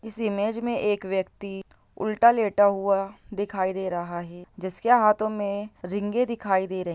इस इमेज में एक व्यक्ति उल्टा लेटा हुआ दिखाई दे रहा है। जिसके हाथों में रींगे दिखाई दे रहीं ----